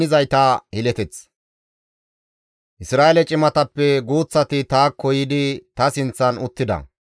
Isra7eele cimatappe guuththati taakko yiidi ta sinththan uttida.